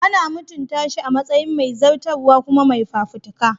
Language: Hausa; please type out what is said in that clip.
Ana mutunta shi a matsayin mai zartaswa kuma mai fafutuka.